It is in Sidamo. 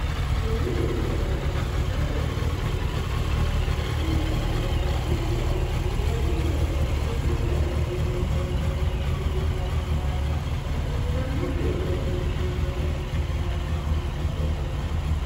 Tenne misile aana la'nanni hee'noommoti sagalete. Tini sagale addintanni biifadonna baxisanno garinni loosante shiqqino daafira baxissannote woyi biiffannota ikkitino daafira ani baxoommase.